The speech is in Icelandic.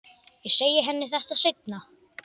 Ég segi henni þetta seinna.